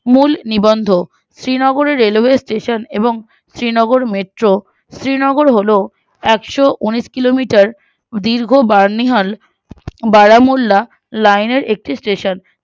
মূল নিবন্ধ শ্রীনগরের railway station এবং শ্রীনগর metro শ্রীনগর হলো এক্শোউনিশ কিলোমিটার ও দীর্ঘ বানিহাল বারামুল্লা line এর একটি station